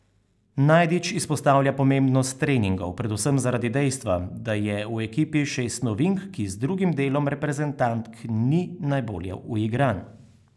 Najdič izpostavlja pomembnost treningov, predvsem zaradi dejstva, da je v ekipi šest novink, ki z drugim delom reprezentantk ni najbolje uigran.